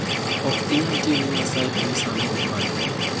"Ok inyal tiyo ne Nyasaye to isind owadu."